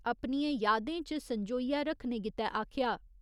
अपनियें यादें च संजोइयै रक्खने गित्ते आखेआ।